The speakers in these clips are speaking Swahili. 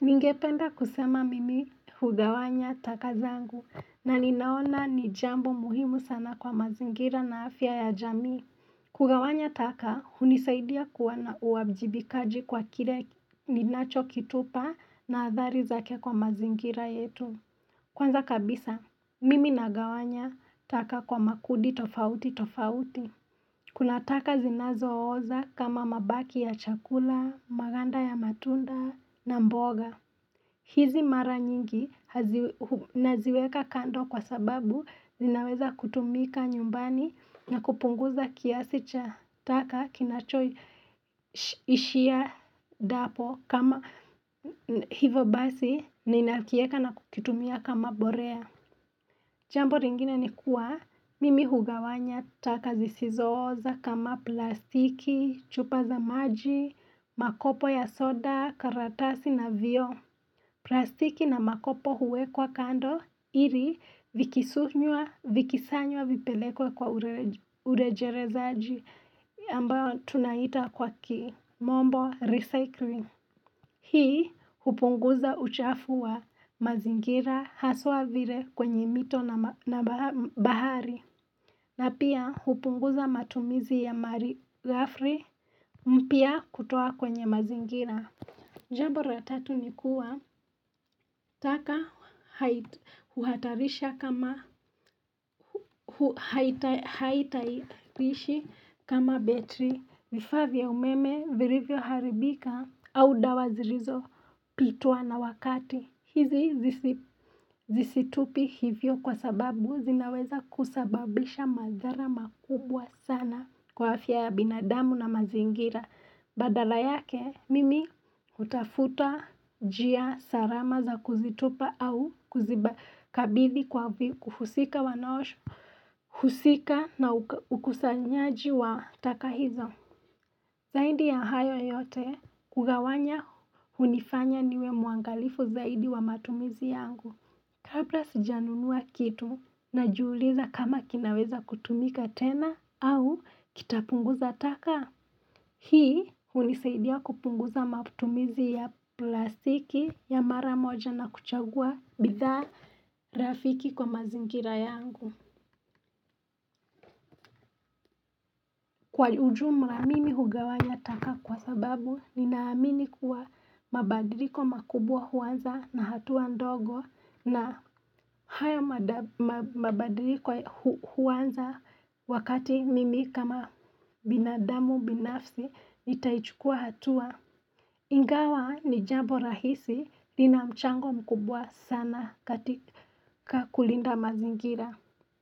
Ningependa kusema mimi hugawanya takazangu na ninaona ni jambo muhimu sana kwa mazingira na afya ya jamii. Kugawanya taka, hunisaidia kuona uwajibikaji kwa kile ninacho kitupa na athari zake kwa mazingira yetu. Kwanza kabisa, mimi nagawanya taka kwa makundi tofauti tofauti. Kuna taka zinazo oza kama mabaki ya chakula, maganda ya matunda na mboga. Hizi mara nyingi naziweka kando kwa sababu zinaweza kutumika nyumbani na kupunguza kiasi cha taka kinacho ishia dapo kama hivo basi ninakieka na kukitumia kama borea. Jambo ringine ni kuwa mimi hugawanya taka zisizo oza kama plastiki, chupa za maji, makopo ya soda, karatasi na vioo. Plastiki na makopo huwekwa kando ili vikisunywa vikisanywa vipelekwe kwa urejerezaji ambayo tunaita kwa kimombo recycling. Hii, hupunguza uchafu wa mazingira haswa vile kwenye mito na bahari. Na pia, hupunguza matumizi ya mari gafri mpya kutoa kwenye mazingira. Jambo ra tatu ni kuwa taka uhatarisha kama, haitarishi kama betri. Vifaa vya umeme virivyo haribika au dawa zirizo pitwa na wakati. Hizi zisitupi hivyo kwa sababu zinaweza kusababisha madhara makubwa sana kwa afya ya binadamu na mazingira. Badala yake, mimi utafuta jia sarama za kuzitupa au kuzibakabithi kuhusika wanao, husika na ukusanyaji wa taka hizo. Zaidi ya hayo yote, kugawanya hunifanya niwe mwangalifu zaidi wa matumizi yangu. Kapra sija nunua kitu najiuliza kama kinaweza kutumika tena au kitapunguza taka. Hii unisaidia kupunguza maputumizi ya plastiki ya mara moja na kuchagua bidhaa rafiki kwa mazingira yangu Kwa ujumla mimi hugawanya taka kwa sababu ninaamini kuwa mabadiliko makubwa huanza na hatua ndogo na haya mabadiliko huanza wakati mimi kama binadamu binafsi nitaichukua hatua Ingawa ni jambo rahisi lina mchango mkubwa sana katika kulinda mazingira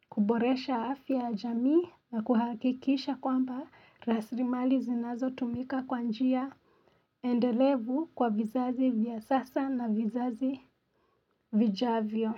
kuboresha afya ya jamii na kuhakikisha kwamba raslimali zinazo tumika kwa njia endelevu kwa vizazi vya sasa na vizazi vijavyo.